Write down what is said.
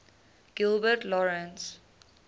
gilbert lawrence